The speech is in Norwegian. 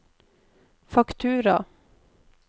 faktura